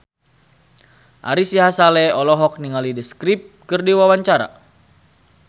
Ari Sihasale olohok ningali The Script keur diwawancara